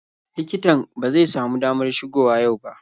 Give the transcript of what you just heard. Likitan ba zai samu damar shigo wa yau ba.